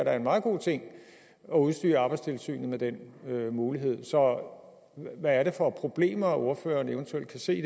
er en meget god ting at udstyre arbejdstilsynet med den mulighed så hvad er det for problemer ordføreren eventuelt kan se